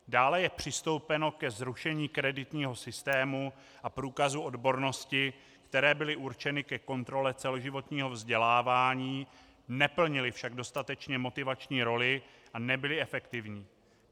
Dále je přistoupeno ke zrušení kreditního systému a průkazu odbornosti, které byly určeny ke kontrole celoživotního vzdělávání, neplnily však dostatečně motivační roli a nebyly efektivní.